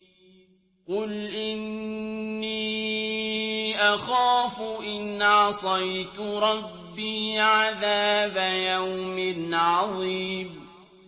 قُلْ إِنِّي أَخَافُ إِنْ عَصَيْتُ رَبِّي عَذَابَ يَوْمٍ عَظِيمٍ